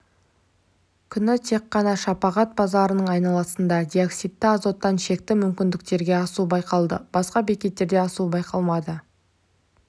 күні тек қана шапағат базарының айналасында диоксидті азоттан шекті мүмкіндіктен асу байқалды басқа бекеттерде асу байқалмады